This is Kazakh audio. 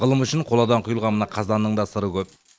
ғылым үшін қоладан құйылған мына қазанның да сыры көп